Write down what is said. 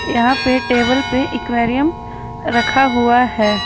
यहां पे टेबल पे एक्वेरियम रखा हुआ है।